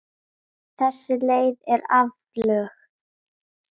Þessi leið er aflögð.